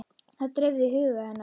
Það dreifði huga hennar.